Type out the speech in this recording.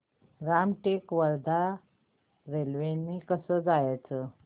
रामटेक ते वर्धा रेल्वे ने कसं जायचं